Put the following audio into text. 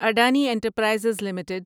Adani enterprises limited